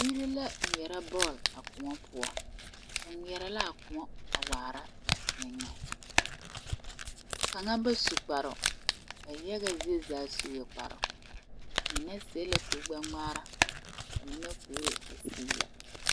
Biiri la ŋmeɛrɛ bɔɔl a kóɔ poɔ ba ŋmeɛrɛ la a kóɔ waara ba eŋe kaŋ ba su kparoo ba yaga zie zaa sue kparoo ba mine seɛ la kuri gbɛ ŋmaara ba mine kuri a zigi la